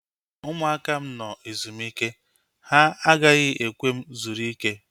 Ụmụaka m nọ ezumike. Ha agaghị ekwe m zuru ike